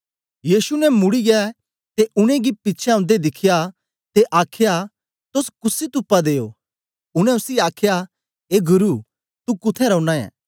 यीशु ने मुड़ीयै ते उनेंगी पिछें औंदे दिखया ते आखया तोस कुसी तुप्पा दे ओ उनै उसी आखया ए गुरु तू कुत्थें रौना ऐं